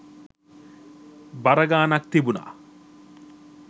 බර ගාණක් තිබුණා.